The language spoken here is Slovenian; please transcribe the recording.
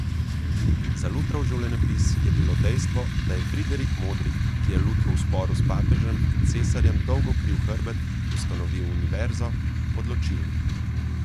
Za Lutrov življenjepis je bilo dejstvo, da je Friderik Modri, ki je Lutru v sporu s papežem in cesarjem dolgo kril hrbet, ustanovil univerzo, odločilno.